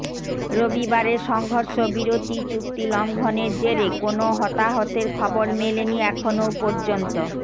রবিরারের সংঘর্ষবিরতি চুক্তি লঙ্ঘনের জেরে কোনও হতাহতের খবর মেলেনি এখনও পর্যন্ত